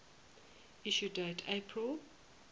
issue date april